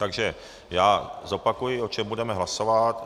Takže já zopakuji, o čem budeme hlasovat.